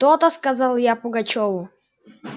то-то сказал я пугачёву